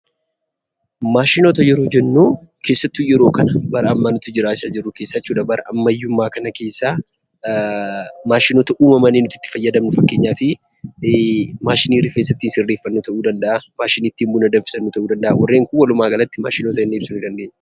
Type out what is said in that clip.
Maashinoota yeroo jennuu, keessattuu yeroo kana, bara ammayyaa amma nuti jiraachaa jirru keessa bara ammayyummaa kana keessaa , maashinoota uumamanii itti fayyadamanii fakkeenyaaf maashinii rifeensa ittiin sirreeffannuta' uu danda'a, maashinii ittiin buna tuman ta'uu danda'a. Warreen Kun walumaa galatti maashinoota jennee ibsuu dandeenya.